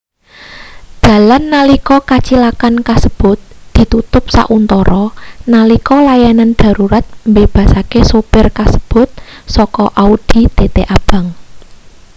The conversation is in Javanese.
dalan nalika kacilakan kasebut ditutup sauntara nalika layanan darurat mbebasake supir kasebut saka audi tt abang